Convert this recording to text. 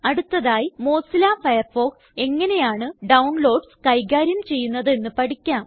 അടുത്തതായി Mozilla Firefox എങ്ങനെയാണ് downloads കൈകാര്യം ചെയ്യുന്നതെന്ന് പഠിക്കാം